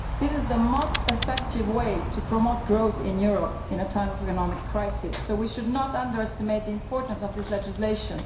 This is the most effective way to promote growth in Europe at a time of economic crisis, so we should not underestimate the importance of this legislation.